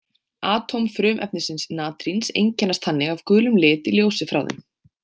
Atóm frumefnisins natríns einkennast þannig af gulum lit í ljósi frá þeim.